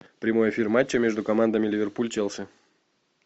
прямой эфир матча между командами ливерпуль челси